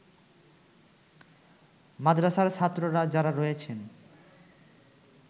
মাদ্রাসার ছাত্ররা যারা রয়েছেন